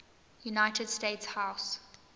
united states house